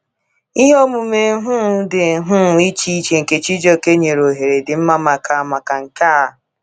Ihe omume um dị um iche iche nke Chijioke nyere ohere dị mma maka maka nke a.